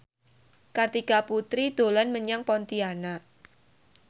Kartika Putri dolan menyang Pontianak